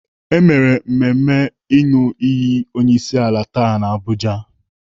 E mere mmemme ịnụ iyi onyeisiala taa n'Abuja.